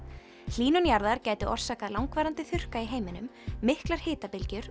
hlýnun jarðar gæti orsakað langvarandi þurrka í heiminum miklar